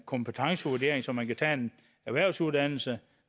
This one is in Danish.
kompetencevurdering så man kan tage en erhvervsuddannelse